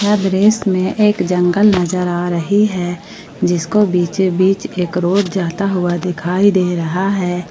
दृश्य में एक जंगल नजर आ रही है जिसको बीचोबीच एक रोड जाता हुआ दिखाई दे रहा है।